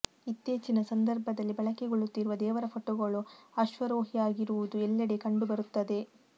ಇತ್ತೀಚಿನ ಸಂದರ್ಭದಲ್ಲಿ ಬಳಕೆಗೊಳ್ಳುತ್ತಿರುವ ದೇವರ ಫೋಟೋಗಳು ಅಶ್ವಾರೋಹಿಯಾಗಿರುವುದು ಎಲ್ಲೆಡೆಗೆ ಕಂಡು ಬರುತ್ತದೆ